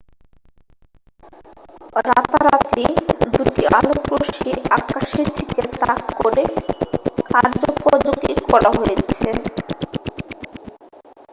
রাতারাতি দুটি আলোকরশ্মি আকাশের দিকে তাক করে কার্যপযোগী করা হয়েছে